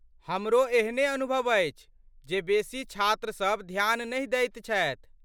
हमरो एहने अनुभव अछि, जे बेसी छात्र सभ ध्यान नहि दैत छथि।